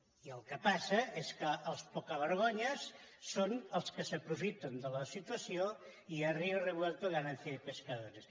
i el que passa és que els pocavergonyes són els que s’aprofiten de la situació i a río revuelto ganancia de pescadores